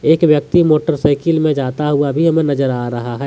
एक व्यक्ति मोटरसाइकिल में जाता हुआ भी हमें नजर आ रहा है।